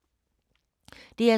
DR2